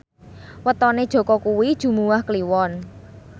wetone Jaka kuwi Jumuwah Kliwon